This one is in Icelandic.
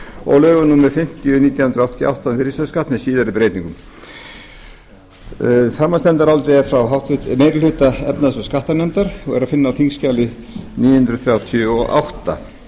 og lögum númer fimmtíu nítján hundruð áttatíu og átta um virðisaukaskatt með síðari breytingum framhaldsnefndarálitið er frá háttvirtri meiri hluta efnahags og skattanefndar og er að finna á þingskjali níu hundruð þrjátíu og átta